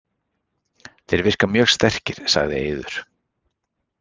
Þeir virka mjög sterkir, sagði Eiður.